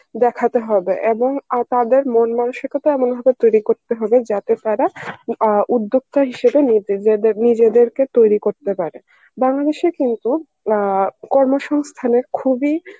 দেখাতে হবে এবং তাদের মন মানসিকতা এমন ভাবে তৈরী করতে হবে যাতে তারা অ্যাঁ উদ্যোগটা হিসেবে নিজে~ নিজেদেরকে তৈরী করতে পারে বরং সে কিন্তু আ কর্ম সংস্থানে খুব ই